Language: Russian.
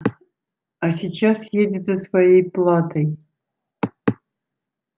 а сейчас едет за своей платой